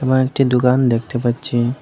এবং একটি দোকান দেখতে পাচ্ছি।